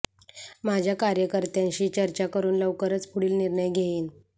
माझ्या कार्यकर्त्यांशी चर्चा करुन लवकरच पुढील निर्णय घेईन